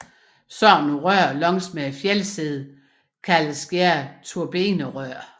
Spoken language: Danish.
Sådanne rør langs fjeldsiden kaldes gerne turbinerør